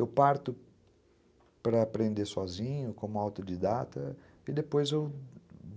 Eu parto para para aprender sozinho, como autodidata, e depois eu